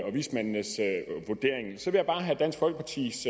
og vismændenes vurdering så vil jeg bare have dansk folkepartis